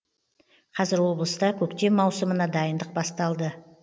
қазір облыста көктем маусымына дайындық басталды